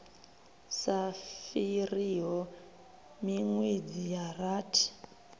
sa fhiriho minwedzi ya rathi